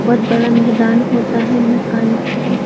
बहुत बड़ा मैदान होता है मकान की।